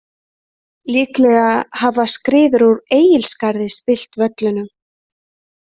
Líklega hafa skriður úr Egilsskarði spillt völlunum.